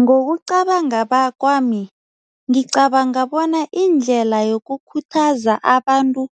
Ngokucabanga kwami, ngicabanga bona indlela yokukhuthaza abantu